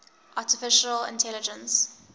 artificial intelligence